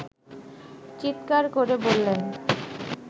চিৎকার করে বললেন